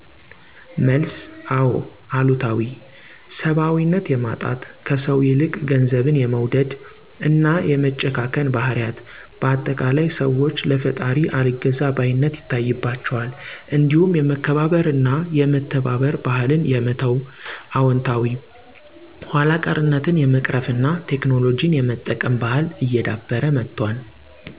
መልስ፦ አወ , አሉታዊ፦ ሰባዊነት የማጣት፣ ከሰው ይልቅ ገንዘብን የመውደድ እና የመጨካከን ባህሪያት፤ በአጠቃላይ ሰዋች ለፈጣሪ አልገዛ ባይነት ይታይባቸዋል እንዲሁም የመከባበርና የመተባበር ባህልን የመተው። አወንታዊ፦ ኋላ ቀርነትን የመቅርፍና ቴክኖሎጂን የመጠቀም ባህል እየዳበረ መጥቷል